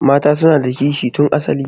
Mata suna da kishi tun asali.